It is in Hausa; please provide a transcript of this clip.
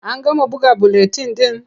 An gama buga buletin ɗin?